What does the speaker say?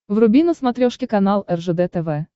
вруби на смотрешке канал ржд тв